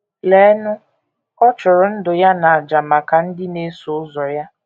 Leenụ, ọ chụrụ ndụ ya n’àjà maka ndị na - eso ụzọ ya!